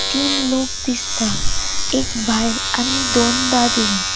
तीन लोक दिसता एक बायल आणि दोन दादले.